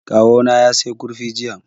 Kawo na ya saya kurfi jiya